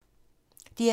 DR2